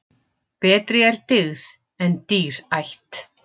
Betri er dyggð en dýr ætt.